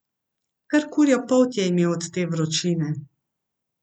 Kar kurjo polt je imel od te vročine.